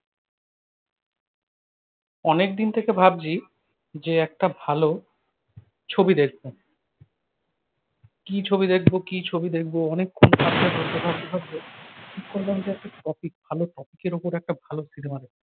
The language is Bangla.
অনেকদিন থেকে ভাবছি, যে একটা ভালো ছবি দেখব। কী ছবি দেখব কী ছবি দেখবো অনেকক্ষণ ভাবতে ভাবতে ঠিক করলাম যে একটা topic ভালো topic এর ওপর একটা ভালো সিনেমা দেখব।